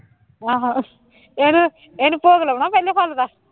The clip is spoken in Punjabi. ਆਹੋ ਇਹਨੂੰ ਇਹਨੂੰ ਭੋਗ ਲਾਉਣਾ ਪਹਿਲੇ ਥਾਲ ਦਾ